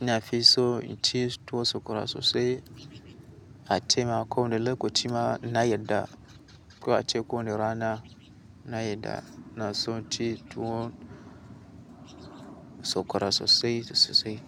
Ina fi so inci tuwo sokora sosai ace ma kowane lokaci ma na yarda. Ko ace ko wani ranaa, na yarda. Na so inci tuwo sakwara sosai sosai.